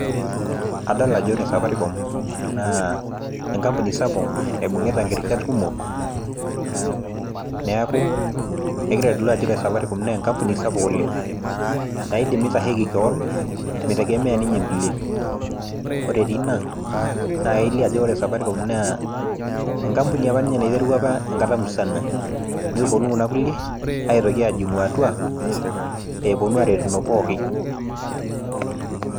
adol ajo ore safaricom naa engampuni sapuk naibung'ita neeku ore safaricom naa enkampuni sapuk oleng naidim nitasheki kewan mitegemeya ninye inkulie enkampuni, naiterua apa ninye enkata musana nepuonu kuna kulie ajing atua aretu.